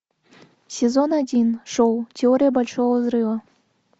сезон один шоу теория большого взрыва